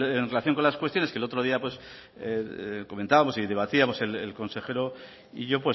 en relación con las cuestiones que el otro día comentábamos y debatíamos el consejero y yo